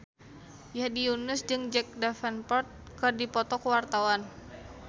Hedi Yunus jeung Jack Davenport keur dipoto ku wartawan